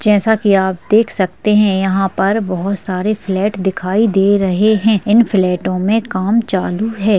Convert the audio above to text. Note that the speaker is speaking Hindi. जैसा कि आप देख सकते है यहाँ पर बहुत सारे फ्लैट दिखाई दे रहे है इन फ्लैटों मे काम चालू है।